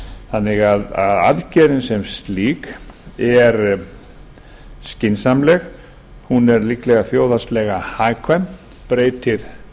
þannig að aðgerðin sem slík er skynsamleg hún er líklega þjóðhagslega hagkvæm og breytir